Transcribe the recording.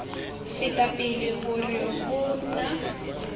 feta pele hore ho na